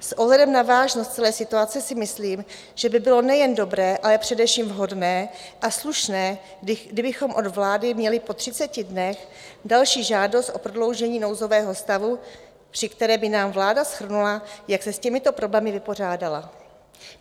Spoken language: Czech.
S ohledem na vážnost celé situace si myslím, že by bylo nejen dobré, ale především vhodné a slušné, kdybychom od vlády měli po 30 dnech další žádost o prodloužení nouzového stavu, při které by nám vláda shrnula, jak se s těmito problémy vypořádala.